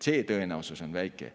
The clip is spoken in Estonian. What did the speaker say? See tõenäosus on väike.